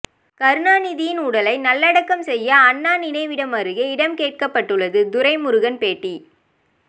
கருணாநிதியின் உடலை நல்லடக்கம் செய்ய அண்ணா நினைவிடம் அருகே இடம் கேட்கப்பட்டுள்ளது துரைமுருகன் பேட்டி